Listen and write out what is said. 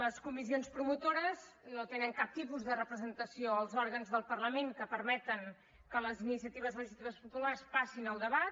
les comissions promotores no tenen cap tipus de representació als òrgans del parlament que permeten que les iniciatives legislatives populars passin al debat